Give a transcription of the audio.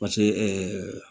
Pase